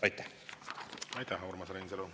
Aitäh, Urmas Reinsalu!